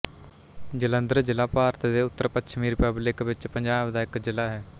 ਜਲੰਧਰ ਜ਼ਿਲਾ ਭਾਰਤ ਦੇ ਉੱਤਰੀਪੱਛਮੀ ਰੀਪਬਲਿਕ ਵਿੱਚ ਪੰਜਾਬ ਦਾ ਇੱਕ ਜ਼ਿਲ੍ਹਾ ਹੈ